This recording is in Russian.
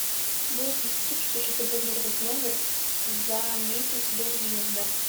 будут ли скидки если забронировать номер за месяц до въезда